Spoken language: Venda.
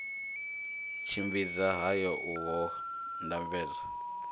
tshimbidza haya u ho ndambedzo